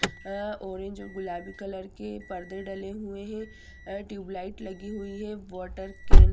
orange और गुलाबी colour के परदे डले हुए हैं ट्यूब लाइट लगी हुई है वाटर कैन --